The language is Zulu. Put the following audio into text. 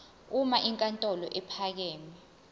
uma inkantolo ephakeme